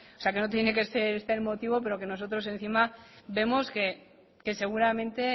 que no tiene que ser este el motivo pero que nosotros encima vemos que seguramente